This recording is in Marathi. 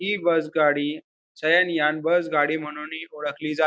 हि बस गाडी शयनयान बस गाडी म्हणूनही ओळखली जा--